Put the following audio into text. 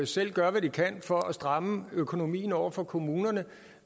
selv gør hvad de kan for at stramme økonomien over for kommunerne